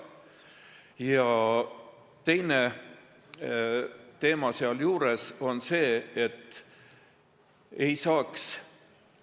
Ja teine võimalus on kehtestada limiidid.